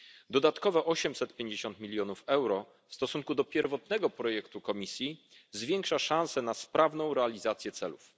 Dodatkowe 850 mln euro w stosunku do pierwotnego projektu Komisji zwiększa szanse na sprawną realizację celów.